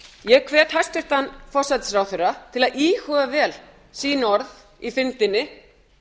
ég hvet hæstvirtan forsætisráðherra til að íhuga vel sín orð í fyrndinni